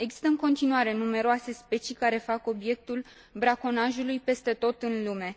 Există în continuare numeroase specii care fac obiectul braconajului peste tot în lume.